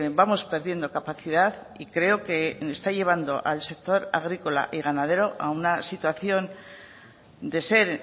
vamos perdiendo capacidad y creo que está llevando al sector agrícola y ganadero a una situación de ser